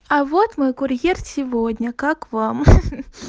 а вот мой курьер сегодня как вам ха-ха